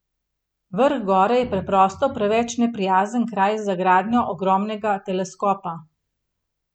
Vrh gore je preprosto preveč neprijazen kraj za gradnjo ogromnega teleskopa.